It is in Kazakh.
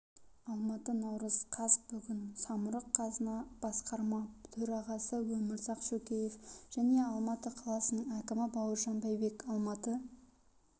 алматы наурыз қаз бүгін самұрық-қазына басқарма төрағасы өмірзақ шөкеев және алматы қаласының әкімі бауыржан байбек алматы